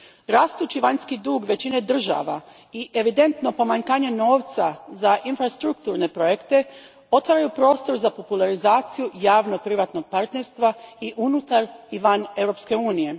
Rastući vanjski dug većine država i evidentno pomanjkanje novca za infrastrukturne projekte otvaraju prostor za popularizaciju javno privatnog partnerstva i unutar i van Europske unije.